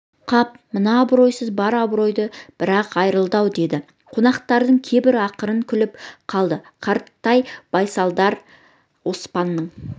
қап мына абыройсыз бар абыройдан бір-ақ айрылды-ау деді қонақтардың кейбірі ақырын күліп қалды қаратай байсалдар оспанның